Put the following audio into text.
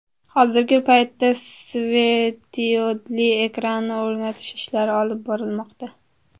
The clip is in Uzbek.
Hozirgi paytda svetodiodli ekranni o‘rnatish ishlari olib borilmoqda.